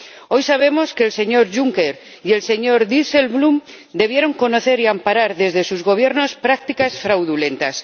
Hoy sabemos que el señor Juncker y el señor Dijsselbloem tuvieron que conocer y amparar desde sus Gobiernos prácticas fraudulentas.